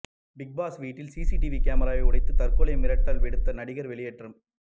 big Boss வீட்டில் CCTV கேமராவை உடைத்து தற்கொலை மிரட்டல் விடுத்த நடிகர் வெளியேற்றம்